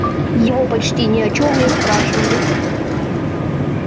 его почти ни о чём не спрашивали